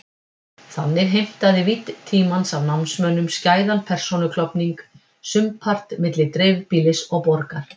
Þannig heimtaði vídd tímans af námsmönnum skæðan persónuklofning, sumpart milli dreifbýlis og borgar.